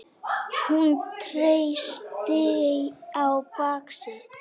Hún treysti á bak sitt.